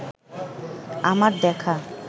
আমার দেখা